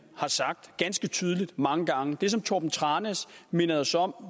har sagt ganske tydeligt mange gange det som torben tranæs mindede os om